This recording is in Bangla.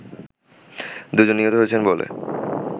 দুইজন নিহত হয়েছে বলে